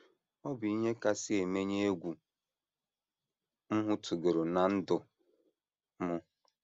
“ Ọ bụ ihe kasị emenye egwu m hụtụworo ná ndụ m.